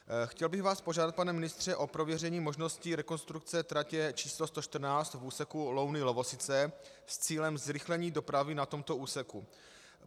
Chtěl bych vás požádat, pane ministře, o prověření možnosti rekonstrukce tratě č. 114 v úseku Louny - Lovosice s cílem zrychlení dopravy na tomto úseku.